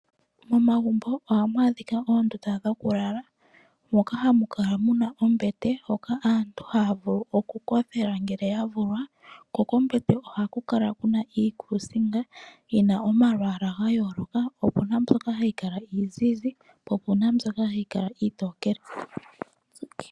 Momagumbo ohamu adhika oondunda dhokulala, moka hamu kala muna ombete moka aantu haya vulu okukothela ngele ya vulwa. Ko kombete ohaku kala kuna iikusinga yina omalwaala ga yooloka. Opuna mboka hayi kala iizizi, po opuna mbyoka hayi kala iitokele.